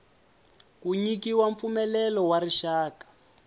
ku nyikiwa mpfumelelo wa rixaka